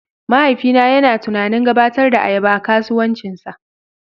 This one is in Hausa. Mahaifina yana tunanin gabatar da ayaba a kasuwancinsa.